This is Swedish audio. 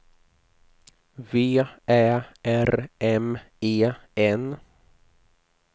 V Ä R M E N